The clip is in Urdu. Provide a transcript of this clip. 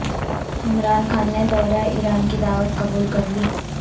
عمران خان نے دورہ ایران کی دعوت قبول کرلی